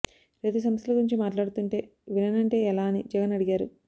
రైతు సమస్యల గురించి మాట్లాడుతుంటే విననంటే ఎలా అని జగన్ అడిగారు